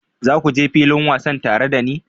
Za ku je filin wasa tare da ni?